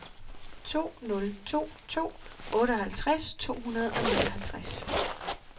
to nul to to otteoghalvtreds to hundrede og nioghalvtreds